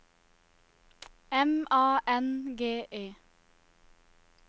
M A N G E